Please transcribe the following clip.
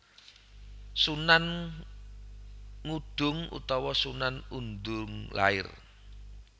Sunan Ngudung utawa Sunan Undung lair